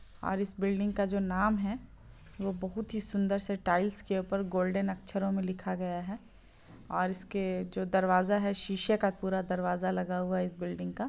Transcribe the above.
और इस बिल्डिंग का जो नाम है वो बहुत ही सुंदर से टाइल्स के ऊपर गोल्डन अक्षरों में लिखा गया है और इसके जो दरवाज़ा है शीशे का पूरा दरवाज़ा लगा हुआ है इस बिल्डिंग का।